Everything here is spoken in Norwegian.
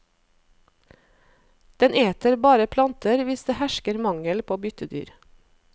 Den eter bare planter hvis det hersker mangel på byttedyr.